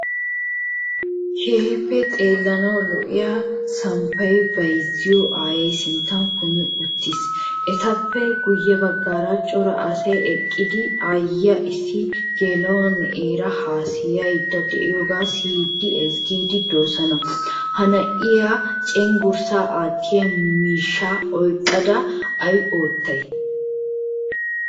Keehin xeelanawu lo'iyaa samppay bayzziyaa aaye sinttan kumi uttiiis. Ettappe guye baggaara cora asay eqqidi aayiyaa issi gel'o na'era haasayayida deiyoga siyidine ezzgidi deosona. Ha na' iyaa cenggurssa attiya miishshaa oyqqada ay ottay?